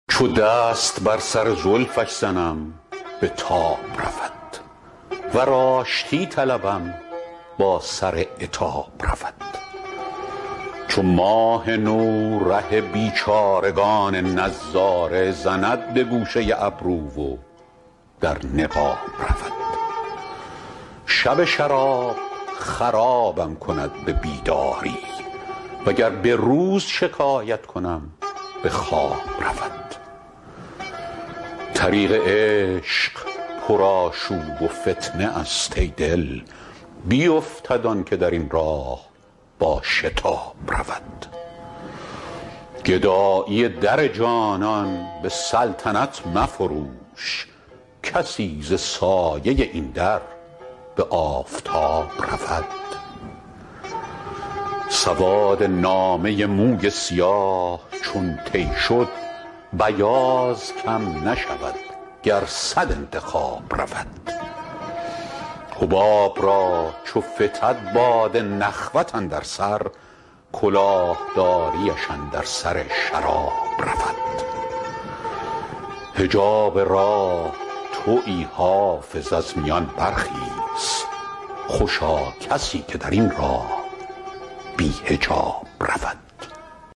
چو دست بر سر زلفش زنم به تاب رود ور آشتی طلبم با سر عتاب رود چو ماه نو ره بیچارگان نظاره زند به گوشه ابرو و در نقاب رود شب شراب خرابم کند به بیداری وگر به روز شکایت کنم به خواب رود طریق عشق پرآشوب و فتنه است ای دل بیفتد آن که در این راه با شتاب رود گدایی در جانان به سلطنت مفروش کسی ز سایه این در به آفتاب رود سواد نامه موی سیاه چون طی شد بیاض کم نشود گر صد انتخاب رود حباب را چو فتد باد نخوت اندر سر کلاه داریش اندر سر شراب رود حجاب راه تویی حافظ از میان برخیز خوشا کسی که در این راه بی حجاب رود